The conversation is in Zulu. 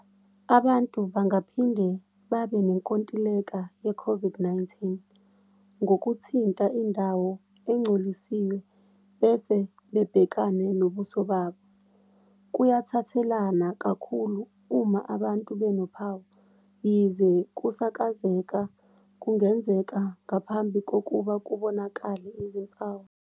Abantu bangaphinde banenkontileka ye-COVID-19 ngokuthinta indawo engcolisiwe bese bebhekene nobuso babo. Kuyathathelana kakhulu uma abantu benophawu, yize ukusakazeka kungenzeka ngaphambi kokuba kubonakale izimpawu.